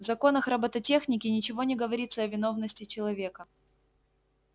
в законах роботехники ничего не говорится о виновности человека